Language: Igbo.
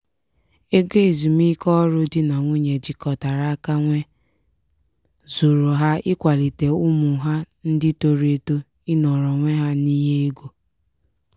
ego ezumiike ọrụ di na nwunye jikọtara aka nwee zuuru ha ịkwalite ụmụ ha ndị toro eto ịnọrọ onwe ha n'ihe ego.